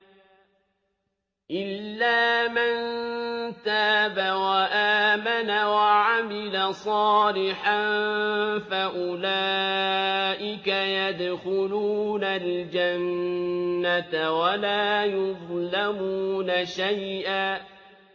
إِلَّا مَن تَابَ وَآمَنَ وَعَمِلَ صَالِحًا فَأُولَٰئِكَ يَدْخُلُونَ الْجَنَّةَ وَلَا يُظْلَمُونَ شَيْئًا